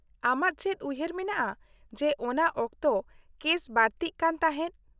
-ᱟᱢᱟᱜ ᱪᱮᱫ ᱩᱭᱦᱟᱹᱨ ᱢᱮᱱᱟᱜᱼᱟ ᱡᱮ ᱚᱱᱟ ᱚᱠᱛᱚ ᱠᱮᱥ ᱵᱟᱹᱲᱛᱤᱜ ᱠᱟᱱ ᱛᱟᱦᱮᱸᱫ ?